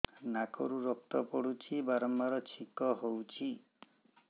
ନାକରୁ ରକ୍ତ ପଡୁଛି ବାରମ୍ବାର ଛିଙ୍କ ହଉଚି